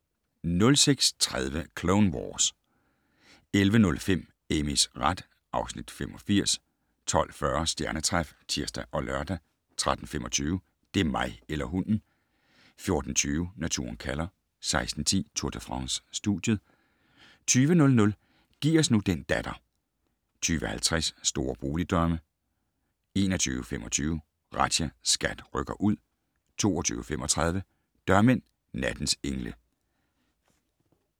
06:30: Clone Wars 11:05: Amys ret (Afs. 85) 12:40: Stjernetræf (tir og lør) 13:25: Det er mig eller hunden! 14:20: Naturen kalder 16:10: Tour de France: Studiet 20:00: Giv os nu den datter 20:50: Store boligdrømme 21:25: Razzia - SKAT rykker ud 22:35: Dørmænd - nattens engle